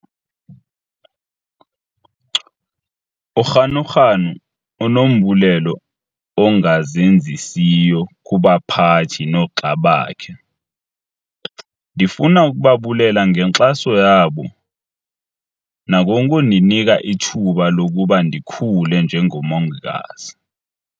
UGanuganu unombulelo ongazenzisiyo kubaphathi noogxa bakhe."Ndifuna ukubabulela ngenkxaso yabo nangokundinika ithuba lokuba ndikhule njengomongikazi."